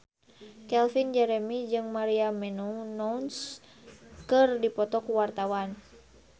Calvin Jeremy jeung Maria Menounos keur dipoto ku wartawan